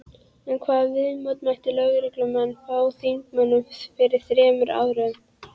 En hvaða viðmóti mættu lögreglumenn frá þingmönnum fyrir þremur árum?